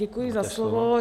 Děkuji za slovo.